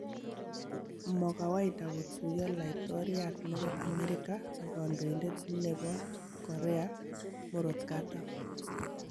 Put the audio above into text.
Mo kawaida kotuiyo laitoriat nebo Amerika ak kandoindet nebo Korea Murotkatam